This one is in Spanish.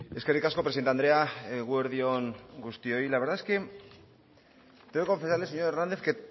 eskerrik asko presidente andrea eguerdi on guztioi la verdad es que tengo que confesarle señor hernández que